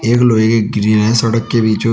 एक लोहे की ग्रिल है सड़क के बीचों--